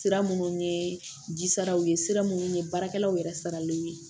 Sira minnu ye jisaraw ye sira minnu ye baarakɛlaw yɛrɛ saralenw ye